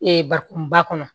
bakuruba kɔnɔ